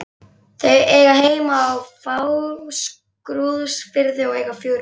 Þau eiga heima á Fáskrúðsfirði og eiga fjögur börn.